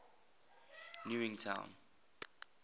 newington